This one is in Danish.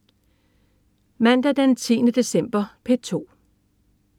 Mandag den 10. december - P2: